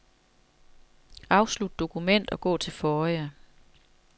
Afslut dokument og gå til forrige.